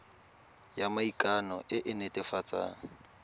ya maikano e e netefatsang